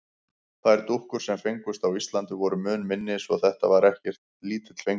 Þær dúkkur, sem fengust á Íslandi, voru mun minni svo þetta var ekki lítill fengur.